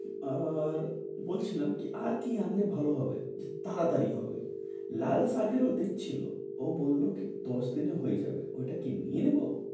আর বলছিলাম কি আর কি আনলে ভালো হবে, মানে তাড়াতাড়ি হবে? লাল শাকেরও বীজ ছিলো। ও বললো কি দশ দিনে হয়ে যাবে। ঐটা কি নিয়ে নিবো?